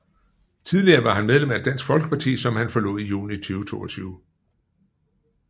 Tidligere var han medlem af Dansk Folkeparti som han forlod i juni 2022